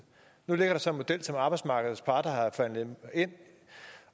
nu ligger der så en model som arbejdsmarkedets parter har forhandlet ind